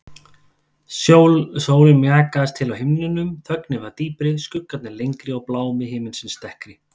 Sólin mjakaðist til á himninum, þögnin varð dýpri, skuggarnir lengri og blámi himinsins dekkri.